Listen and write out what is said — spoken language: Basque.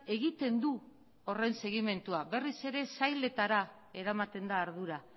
egiten du horren segimendua berriz ere sailetara eramaten da ardura